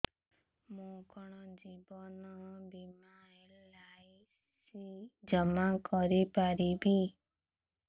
ମୁ କଣ ଜୀବନ ବୀମା ବା ଏଲ୍.ଆଇ.ସି ଜମା କରି ପାରିବି